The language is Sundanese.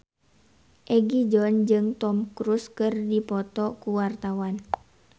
Egi John jeung Tom Cruise keur dipoto ku wartawan